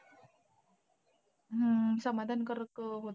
हा समाधानकारक आहोत.